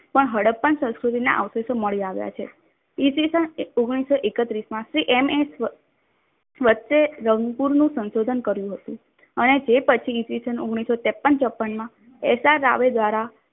પણ હડપ્પા સંસ્ક્રુતિના અવષેશો મળી આવ્યા છે. ઈ. સ. ઓગણીસો એકત્રીશ માં શ્રી રંગપુર નું સંશોધન કર્યું હતું. અને તે પછી ઈ. સ. ઓઅગ્નિષો ત્રેપન ચોપ્પનમાં એસારાવ દ્વારા